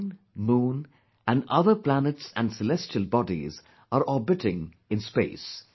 Sun, moon and other planets and celestial bodies are orbiting in space